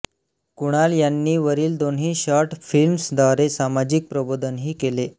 कुणाल यांनी वरील दोन्ही शॉर्ट फिल्म्सद्वारे सामाजिक प्रबोधनही केले